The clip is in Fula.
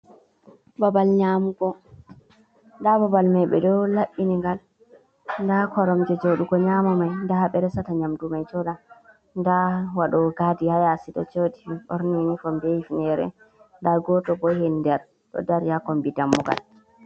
Babal nƴaamugo nda babal mai ɓeɗo laɓɓini ngal, nda koromje jooɗugo nƴaama mai. Nda haa ɓe resata nyamdu mai jooɗa, nda waɗoowo gaadi ha yaasi ɗo jooɗi ɓorni yunifom bee hifneere. Nda gooto bo heer nder ɗo daari ha kombi daammugal.